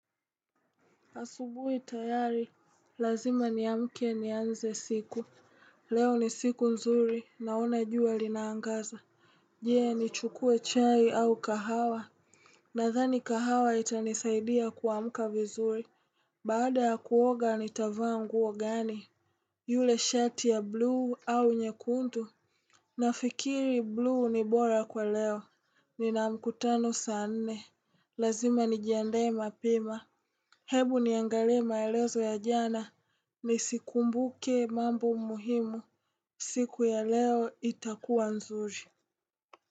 Asubuhi tayari, lazima niamke nianze siku. Leo ni siku nzuri, naona jua linaangaza. Je, ni chukue chai au kahawa. Nadhani kahawa itanisaidia kuamka vizuri. Baada ya kuoga, nitavaa nguo gani? Yule shati ya bluu au nyekundu? Nafikiri bluu ni bora kwa leo. Nina mkutano saa nne. Lazima nijiandae mapema. Hebu niangalie maelezo ya jana nisikumbuke mambo muhimu. Siku ya leo itakuwa nzuri.